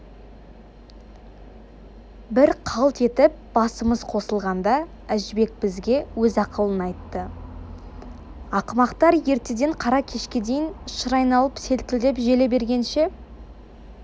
бір қалт етіп басымыз қосылғанда әжібек бізге өз ақылын айтты ақымақтар ертеден қара кешке дейін шыр айналып селкілдеп желе бергенше